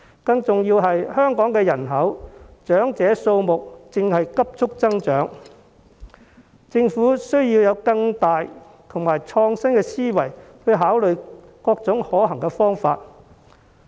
更加重要的是，香港人口中長者的數目正急速增長，政府需要以更遠大和創新的思維去考慮各種可行方法。